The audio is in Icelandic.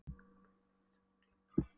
Hann var bæði kveikjarinn og slökkvarinn.